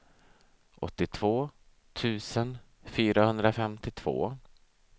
åttiotvå tusen fyrahundrafemtiotvå